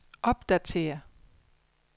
opdatér